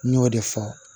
N y'o de fɔ